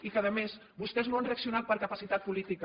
i a més vostès no han reaccionat per capacitat política